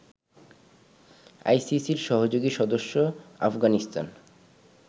আইসিসির সহযোগী সদস্য আফগানিস্তান